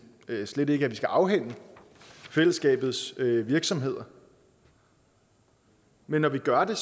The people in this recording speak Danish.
slet ikke at vi skal afhænde fællesskabets virksomheder men når vi gør det